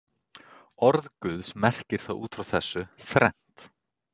Orð Guðs merkir út frá þessu þrennt.